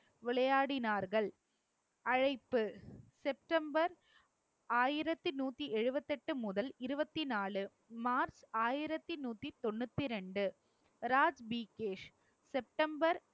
விளையாடினார்கள் அழைப்பு செப்டம்பர் ஆயிரத்தி நூத்தி எழுவத்தெட்டு முதல், இருவத்தி நாலு மார்ச் ஆயிரத்தி நூத்தி தொண்ணூத்தி ரெண்டு செப்டம்பர்